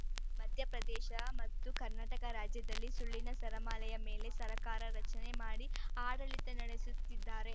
ಮಧ್ಯಪ್ರದೇಶ ಮತ್ತು ಕರ್ನಾಟಕ ರಾಜ್ಯದಲ್ಲಿ ಸುಳ್ಳಿನ ಸರಮಾಲೆಯ ಮೇಲೆ ಸರ್ಕಾರ ರಚನೆ ಮಾಡಿ ಆಡಳಿತ ನಡೆಸುತ್ತಿದ್ದಾರೆ